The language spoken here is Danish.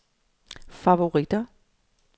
favoritter